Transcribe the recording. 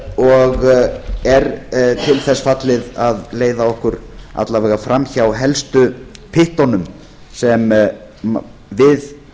og er til þess fallið að leiða okkur alla vega fram hjá helstu pyttunum sem við